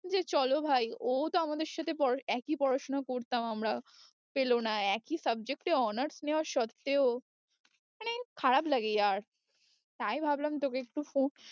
যে চলো ভাই ও তো আমাদের সাথে পড়াশো~ একই পড়াশোনা করতাম আমরা পেলো না একই subject এ honours নেওয়া সত্ত্বেও মানে খারাপ লাগে য়ার তাই ভাবলাম তোকে একটু phone